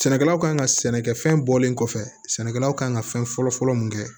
Sɛnɛkɛlaw kan ka sɛnɛkɛ fɛn bɔlen kɔfɛ sɛnɛkɛlaw kan ka fɛn fɔlɔ fɔlɔ mun kɛ